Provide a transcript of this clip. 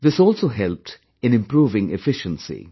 This also helped in improving efficiency